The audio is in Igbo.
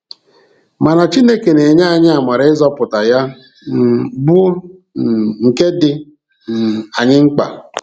Mana Chineke na-enye anyị amara nzọpụta ya um bụ um nke dị um anyị mkpa.